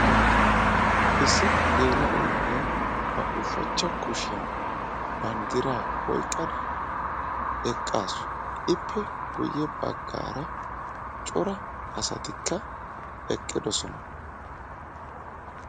Issi gela"o na'iyaa ba ushachcha kushiyaan banddiraa eqqaasu ippe guyye baggara cora asatikka eqqidosona